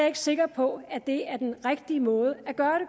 ikke sikker på at det er den rigtige måde